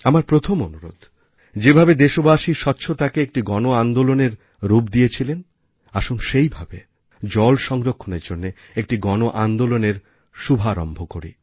আমার প্রথম অনুরোধ যেভাবে দেশবাসী স্বচ্ছতাকে একটি গণ আন্দোলনের রূপ দিয়েছিলেন আসুন সেইভাবে জল সংরক্ষণের জন্য একটি গণ আন্দোলনের শুভারম্ভ করি